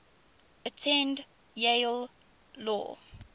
attended yale law